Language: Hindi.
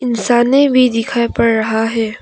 इंसाने भी दिखाई पड़ रहा है।